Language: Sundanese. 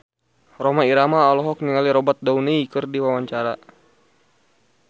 Rhoma Irama olohok ningali Robert Downey keur diwawancara